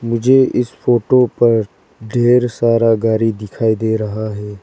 मुझे इस फोटो पर ढेर सारा गाड़ी दिखाई दे रहा है।